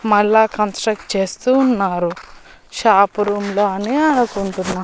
మల్లా కన్స్ట్రక్ట్ చేస్తూ ఉన్నారు షాప్ రూం లానే అనుకుంటున్న.